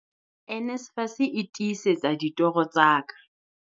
NSFAS e tiisetsa ditoro tsa ka.